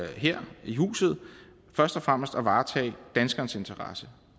her i huset først og fremmest at varetage danskernes interesse